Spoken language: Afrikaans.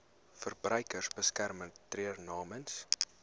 verbruikersbeskermer tree namens